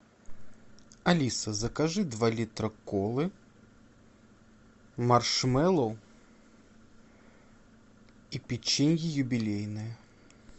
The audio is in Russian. алиса закажи два литра колы маршмеллоу и печенье юбилейное